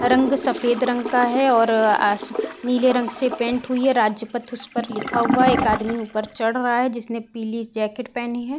रंग सफ़ेद रंग का हैं और आस नीले रंग से पैंट हुई है। राज्यपथ उसपे लिखा हुआ है। एक आदमी उपर चढ़ रहा हैं जिसने पीली जैकेट पहनी है।